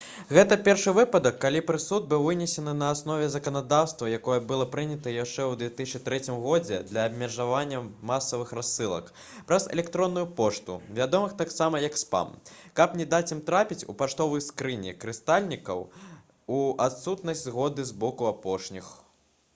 гэта першы выпадак калі прысуд быў вынесены на аснове заканадаўства якое было прынята яшчэ ў 2003 годзе для абмежавання масавых рассылак праз электронную пошту вядомых таксама як спам каб не даць ім трапіць у паштовыя скрыні карыстальнікаў у адсутнасць згоды з боку апошніх